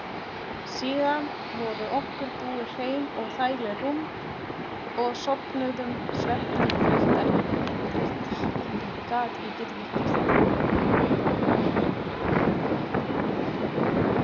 Síðan voru okkur búin hrein og þægileg rúm og sofnuðum svefni þreyttra.